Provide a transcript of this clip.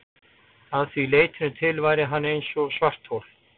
Að því leytinu til væri hann eins og svarthol.